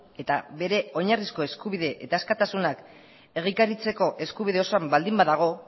eta bere oinarrizko eskubide eta askatasunak egikaritzeko eskubide osoan baldin badago